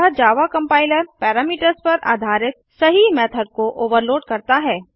अतः Java compiler parameters पर आधारित सही मेथड को ओवरलोड करता है